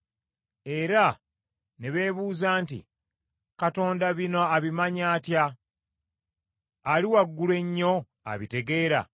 Era ne beebuuza nti, “Katonda bino abimanyi atya? Ali Waggulu Ennyo abitegeera?”